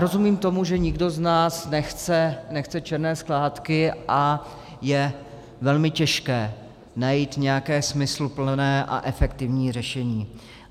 Rozumím tomu, že nikdo z nás nechce černé skládky a je velmi těžké najít nějaké smysluplné a efektivní řešení.